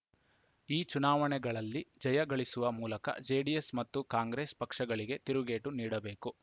ಈ ಚುನಾವಣೆಗಳಲ್ಲಿ ಜಯ ಗಳಿಸುವ ಮೂಲಕ ಜೆಡಿಎಸ್‌ ಮತ್ತು ಕಾಂಗ್ರೆಸ್‌ ಪಕ್ಷಗಳಿಗೆ ತಿರುಗೇಟು ನೀಡಬೇಕು